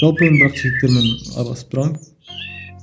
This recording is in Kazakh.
жалпы енді бірақ жігіттермен араласып тұрамын